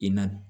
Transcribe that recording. I na